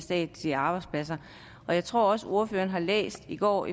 statslige arbejdspladser jeg tror også at ordføreren har læst i går